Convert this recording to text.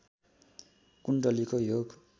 कुण्डलीको योग